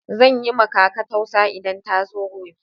Zan yi ma kaka tausa idan ta zo gobe.